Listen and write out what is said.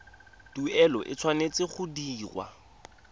tuelo e tshwanetse go dirwa